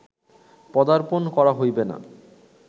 পদার্পণ করা হইবে না